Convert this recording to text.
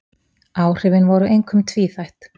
Áhrifin voru einkum tvíþætt